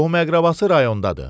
Qohum-əqrəbası rayondadır.